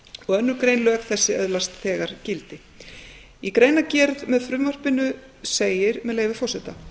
önnur grein lög þessi öðlast þegar gildi í greinargerð með frumvarpinu segir með leyfi forseta